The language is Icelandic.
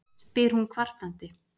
spyr hún kvartandi.